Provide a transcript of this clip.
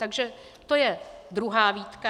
Takže to je druhá výtka.